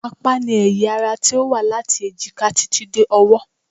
Apá ni ẹ̀yà ara tí ó wá láti èjìká títí dé ọwọ́